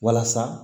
Walasa